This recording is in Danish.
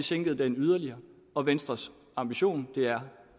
sænket yderligere og venstres ambition er